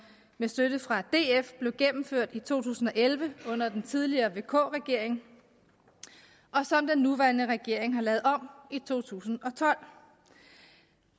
med støtte fra df blev gennemført i to tusind og elleve under den tidligere regering vk regeringen og som den nuværende regering har lavet om i to tusind og tolv